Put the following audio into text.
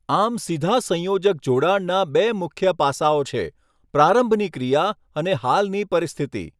આમ, સીધા સંયોજક જોડાણના બે મુખ્ય પાસાઓ છે, પ્રારંભની ક્રિયા અને હાલની પરિસ્થિતિ.